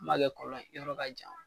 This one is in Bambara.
N'i ma kɛ kɔlɔn ye, yɔrɔ ka jan.